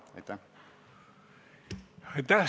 Aitäh!